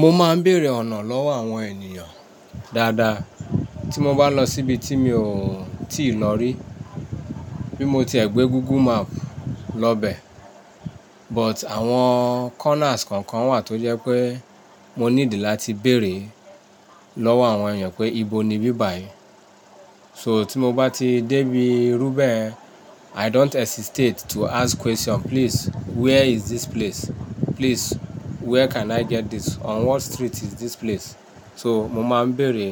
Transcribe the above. Mo máa ń bèrè ọ̀nà lọ́wọ́ àwọn ènìyàn dáadáa tí mo bá lọ síbi tí mi ò tíì lòrí. Bí mo ti ẹ̀ gbé Google Map lọ bẹ, but àwọn corners kankan wà tó jẹ́ pé mo ní ìdí láti bèrè lọ́wọ́ àwọn èèyàn pé ìbò ni bíbàyí. So tí mo bá ti débi irú bẹ́ẹ̀, I don't hesitate to ask question. Please where is this place? Please where can I get this? On what street is this place? So mo máa ń bèrè